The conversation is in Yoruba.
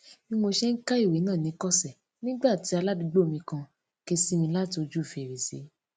bí mo ṣe ń ka ìwé náà ni ikose nígbà tí aládùúgbò mi kan ké sí mi láti ojú fèrèsé